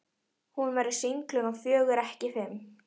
Hún verður sýnd klukkan fjögur, ekki fimm.